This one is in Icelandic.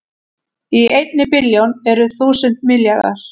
Í einni billjón eru þúsund milljarðar